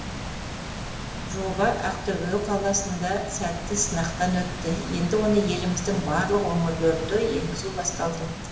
жоба ақтөбе қаласында сәтті сынақтан өтті енді оны еліміздің барлық өңірлерінде енгізу басталды